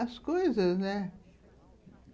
As coisas, né?